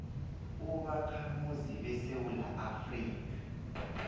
ubakhamuzi besewula afrika